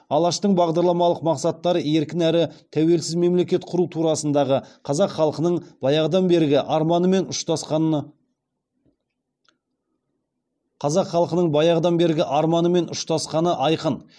алаштың бағдарламалық мақсаттары еркін әрі тәуелсіз мемлекет құру турасындағы қазақ халқының баяғыдан бергі арманымен ұштасқаны айқын